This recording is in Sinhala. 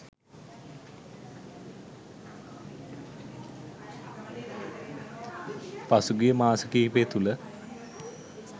පසුගිය මාස කීපය තුළ